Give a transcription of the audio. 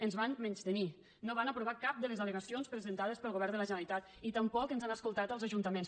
ens van menystenir no van aprovar cap de les al·legacions presentades pel govern de la generalitat i tampoc ens han escoltat als ajuntaments